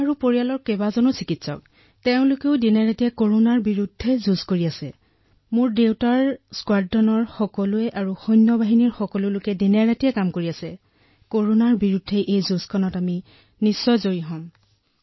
যিসকল চিকিৎসক সশস্ত্ৰ বাহিনী আটায়ে দিনেৰাতিয়ে কাম কৰি আছে আৰু মোৰ বিশ্বাস যে আটাইৰে প্ৰয়াসত আমি কৰোনাৰ বিৰুদ্ধে নিশ্চিতভাৱে জয়ী হম